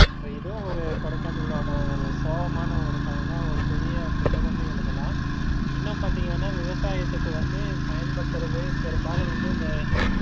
ஏதோ ஒரு கொடைக்கானளோட ஒரு சோகமான ஒரு கதைதான் ஒரு பெரிய புத்தகமே எழுதலாம். இன்னும் பாத்தீங்கன்னா விவசாயத்துக்கு வந்து பயன்படுத்துறது பெரும்பாலும் வந்து இந்த